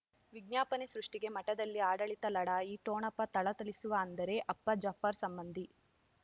ವಿಜ್ಞಾಪನೆ ಸೃಷ್ಟಿಗೆ ಮಠದಲ್ಲಿ ಆಡಳಿತ ಲಢಾಯಿ ಠೊಣಪ ಥಳಥಳಿಸುವ ಅಂದರೆ ಅಪ್ಪ ಜಾಫರ್ ಸಂಬಂಧಿ